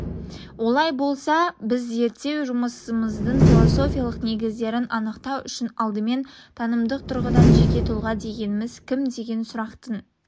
олай болса біз зерттеу жұмысымыздың философиялық негіздерін анықтау үшін алдымен танымдық тұрғыдан жеке тұлға дегеніміз кім деген сұрақтың